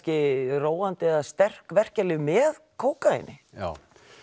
róandi eða sterk verkjalyf með kókaíni já